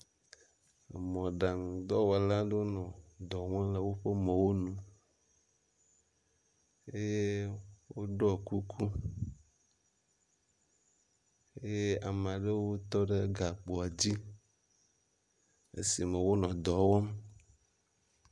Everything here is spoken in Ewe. emɔɖaŋu dɔwɔlawo nɔ dɔwɔm le wóƒe mɔwo nu eye wóɖɔ kuku eye amaɖewo tɔɖe gakpoa dzi esime wónɔ dɔwɔm